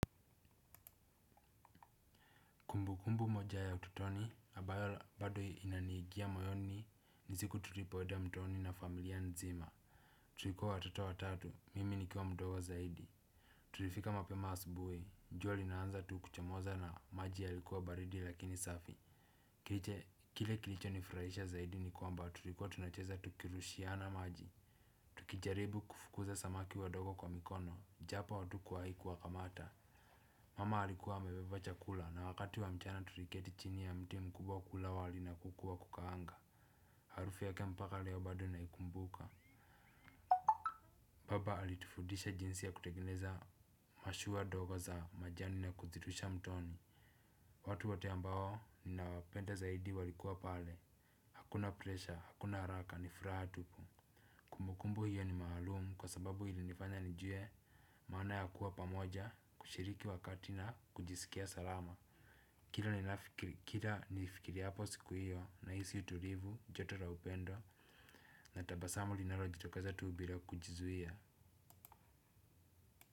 Kumbukumbu moja ya ututoni ambayo bado inaniingia mayoni ni siku tulipoenda mtoni na familia nzima. Tulikuwa watoto watatu, mimi nikiwa mdogo zaidi. Tulifika mapema asubuhi, jua linaanza tu kuchomoza na maji yalikuwa baridi lakini safi. Kile kilichonifurahisha zaidi ni kwamba tulikuwa tunacheza tukirushiana maji. Tukijaribu kufukuza samaki wadogo kwa mikono, japo hatukuwahi kuwakamata. Mama alikuwa amebeba chakula na wakati wa mchana tuliketi chini ya mti mkubwa kula wali na kuku wa kukaanga. Harufu yake mpaka leo bado naikumbuka. Baba alitufudisha jinsi ya kutengeneza mashua ndogo za majani na kuzirusha mtoni. Watu wote ambao ninawapenda zaidi walikuwa pale. Hakuna presha, hakuna haraka, ni furaha tupu. Kumbukumbu hiyo ni maalumu kwa sababu ilinifanya nijue maana ya kuwa pamoja, kushiriki wakati na kujisikia salama. Kila ninafikiri, kila nifikiriapo siku hiyo na hisi utulivu, joto la upendo na tabasamu linalojitokeza tu bila kujizuia.